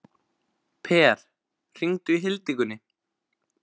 Per, hringdu í Hildigunni.